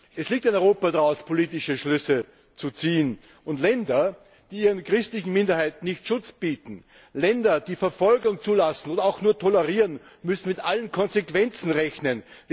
Es liegt an Europa, daraus politische Schlüsse zu ziehen Länder, die ihren christlichen Minderheiten keinen Schutz bieten, Länder, die Verfolgung zulassen oder auch nur tolerieren, müssen mit allen Konsequenzen rechnen!